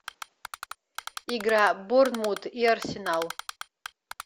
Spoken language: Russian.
игра борнмут и арсенал